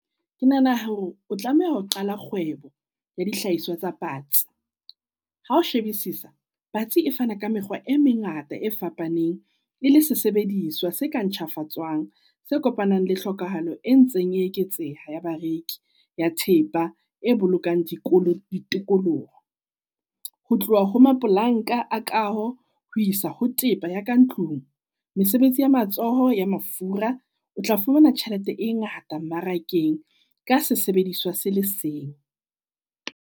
Ke nahana hore o tlameha ho qala kgwebo ya dihlahiswa tsa patsi. Hao Shebisisa patsi e fana ka mekgwa e mengata e fapaneng e le sesebediswa se ka ntjhafatswang se kopanang le hlokahalo, e ntseng e eketseha ya bareki ya thepa e bolokang dikolo ditikoloho. Ho tloha ho mapolanka a kaho ho isa ho tepa ya ka ntlung. Mesebetsi ya matsoho ya mafura o tla fumana tjhelete e ngata mmarakeng ka sesebediswa se le seng.